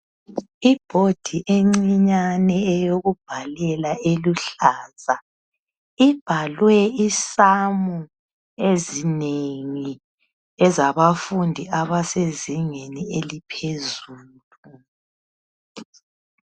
Inboard encinyane eyokubhalela eluhlaza ibhalwe inombolo ezinengi ezabafundi abasezingeni eliphezulu